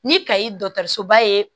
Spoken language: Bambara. Ni kayi dɔgɔtɔrɔsoba ye